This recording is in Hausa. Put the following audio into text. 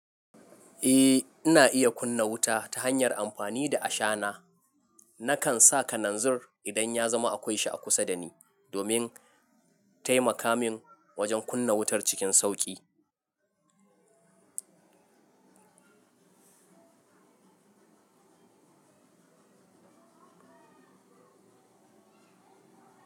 Eh, ina iya kunna wuta ta hanyar amfani da ashana. Nakan sa kananzir idan ya zama akwai sha kusa da ni domin taimaka min wajen kunna wutar cikin sauƙi.